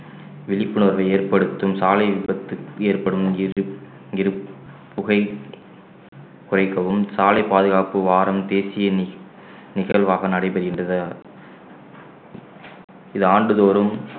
விழிப்புணர்வு ஏற்படுத்தும் சாலை விபத்து ஏற்படும் புகை குறைக்கவும் சாலை பாதுகாப்பு வாரம் தேசிய நி~ நிகழ்வாக நடைபெறுகின்றது இது ஆண்டுதோறும்